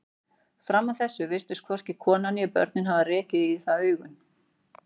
Fram að þessu virtust hvorki konan né börnin hafa rekið í það augun.